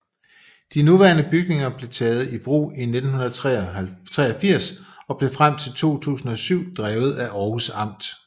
De nuværende bygninger blev taget i brug i 1983 og blev frem til 2007 drevet af Århus Amt